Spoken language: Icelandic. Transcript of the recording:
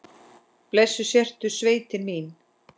Blessuð sértu sveitin mín!